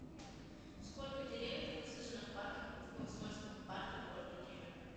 сколько деревьев высажено в парке в комсомольском парке города кемерово